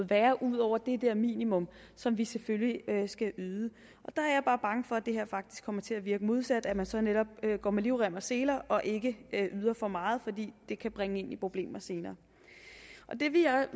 være ud over det der minimum som vi selvfølgelig skal yde der er jeg bare bange for at det her faktisk kommer til at virke modsat at man så netop går med livrem og seler og ikke yder for meget fordi det kan bringe en i problemer senere det vil